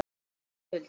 Þín systir Hulda.